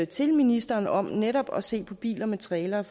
til ministeren om netop at se på biler med trailere